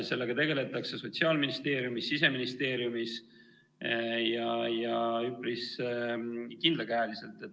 Sellega tegeldakse Sotsiaalministeeriumis, Siseministeeriumis ja üpris kindlakäeliselt.